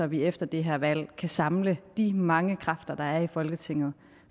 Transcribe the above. vi efter det her valg kan samle de mange kræfter der er i folketinget